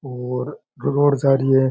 और रोड जारी है।